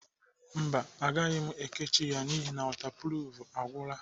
Mba agaghị m ekechi ya n'ihi wọtapruf agwụla.